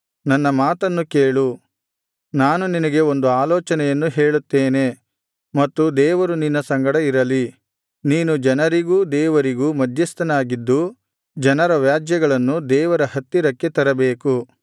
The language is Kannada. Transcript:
ನನ್ನ ಮಾತನ್ನು ಕೇಳು ನಾನು ನಿನಗೆ ಒಂದು ಆಲೋಚನೆಯನ್ನು ಹೇಳುತ್ತೇನೆ ಮತ್ತು ದೇವರು ನಿನ್ನ ಸಂಗಡ ಇರಲಿ ನೀನು ಜನರಿಗೂ ದೇವರಿಗೂ ಮಧ್ಯಸ್ಥನಾಗಿದ್ದು ಜನರ ವ್ಯಾಜ್ಯಗಳನ್ನು ದೇವರ ಹತ್ತಿರಕ್ಕೆ ತರಬೇಕು